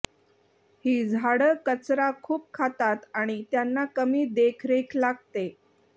ही झाडं कचरा खूप खातात आणि त्यांना कमी देखरेख लागते